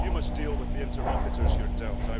You must deal with the interlocutors you're dealt.